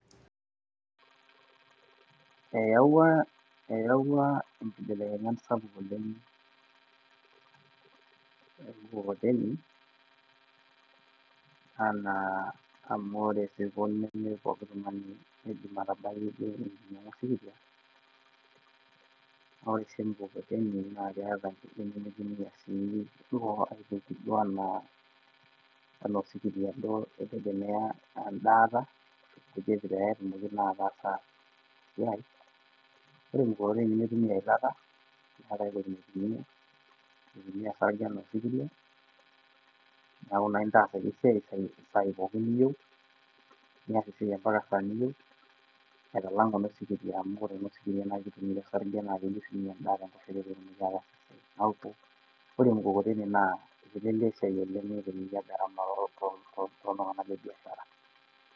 eyawua inkibilekenyat sapuk oleng, mukokoteni. anaa amu ore isirkon ime pooki tung'ani oidim ainyiangu osikiria, naa ore sii mukokoteni naa keeta sii anaa osikiria duo oitegemea edaata pee etumoki naa ataasa esiai, ore eneikoni pee mitumiya eilata, nees ake anaa osikiria, neeku naa intaas ake eisiai anaa isai pookin niyieu, anaa esaa pookin niyieu, aitalang' eno siriria amu ore osikiria, neeku ore mukokoteni neitelelia esiai oleng.